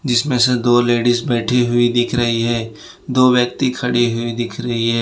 जिसमें से दो लेडिस बैठी हुई दिख रही है दो व्यक्ति खड़ी हुई दिख रही है।